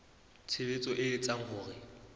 tshebetso e etsang hore ho